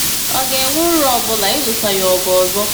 Ọ̀ ga-enwe uru ọ bụla ịlụso ya ọgụ ọzọ?